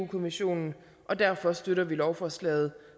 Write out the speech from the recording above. kommissionen og derfor støtter vi lovforslaget